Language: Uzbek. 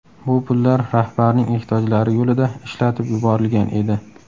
Bu pullar rahbarning ehtiyojlari yo‘lida ishlatib yuborilgan edi.